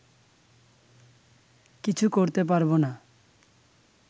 কিছু করতে পারবো না